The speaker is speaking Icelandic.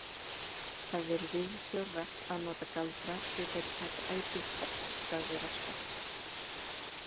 Það er viðsjárvert að nota galdra því þeir taka ætíð toll, sagði Röskva.